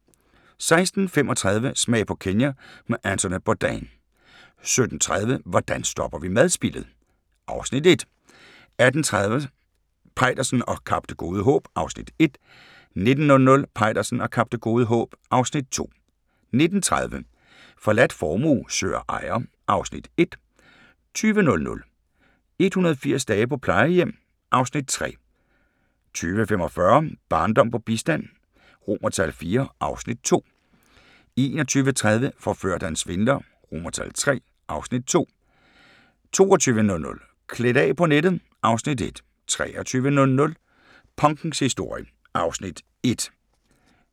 16:35: Smag på Kenya med Anthony Bourdain 17:30: Hvordan stopper vi madspildet? (Afs. 1) 18:30: Peitersen og Kap Det Gode Håb (Afs. 1) 19:00: Peitersen og Kap Det Gode Håb (Afs. 2) 19:30: Forladt formue søger ejer (Afs. 1) 20:00: 180 dage på plejehjem (Afs. 3) 20:45: Barndom på bistand IV (Afs. 2) 21:30: Forført af en svindler III (Afs. 2) 22:00: Klædt af på nettet (Afs. 1) 23:00: Punkens historie (Afs. 1)